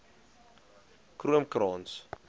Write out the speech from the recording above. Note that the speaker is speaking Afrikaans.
kroomkrans